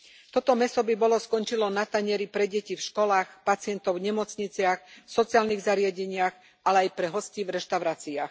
Toto mäso by bolo skončilo na tanieri pre deti v školách, pacientov v nemocniciach, v sociálnych zariadeniach, ale aj pre hostí v reštauráciách.